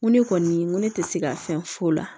Ŋo ne kɔni n ko ne tɛ se ka fɛn f'o la